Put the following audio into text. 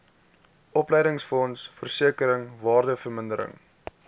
opleidingsfonds versekering waardevermindering